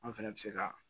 An fɛnɛ bɛ se ka